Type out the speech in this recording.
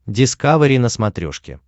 дискавери на смотрешке